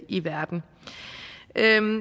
i verden